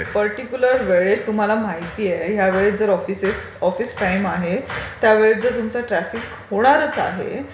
एक पर्टीक्युलर वेळेत तुम्हाला माहितीये या वेळेत जर ऑफिसेस... जर ऑफिस टाइम आहे त्यावेळेत जर तुमचं ट्राफिक होणारच आहे...